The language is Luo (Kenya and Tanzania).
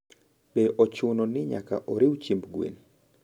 Be ochuno ni nyaka oriw chiemb gwen?